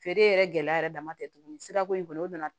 Feere yɛrɛ gɛlɛya yɛrɛ dama tɛ tuguni sirako in kɔni o nana